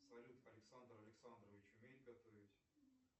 салют александр александрович умеет готовить